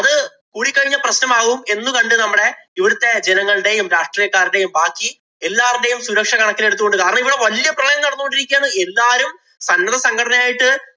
കൂടിക്കഴിഞ്ഞാല്‍ പ്രശ്നമാകും എന്ന് കണ്ടു നമ്മടെ ഇവിടത്തെ ജനങ്ങളുടെയും രാഷ്ട്രീയക്കാരുടെയും, ബാക്കി എല്ലാരുടെയും സുരക്ഷ കണക്കിലെടുത്ത് കൊണ്ട് കാരണം ഇവിടെ വല്യ പ്രളയം നടന്നു കൊണ്ടിരിക്കുകയാണ്. എല്ലാരും സന്നദ്ധസംഘടനയായിട്ട്